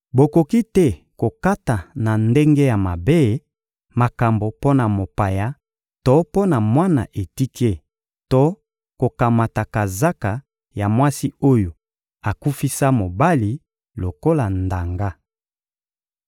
Bokoki te kokata na ndenge ya mabe, makambo mpo na mopaya to mpo na mwana etike; to kokamata kazaka ya mwasi oyo akufisa mobali lokola ndanga.